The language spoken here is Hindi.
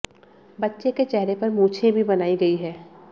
बच्चे के चेहरे पर मूछें भी बनाई गई हैं